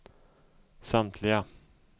samtliga